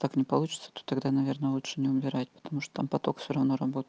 так не получится то тогда наверное лучше не убирать потому что там поток всё равно работает